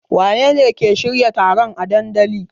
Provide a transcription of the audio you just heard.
Wanene ke shirya taron a dandalin?